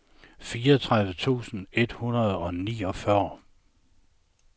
fireogtredive tusind et hundrede og niogfyrre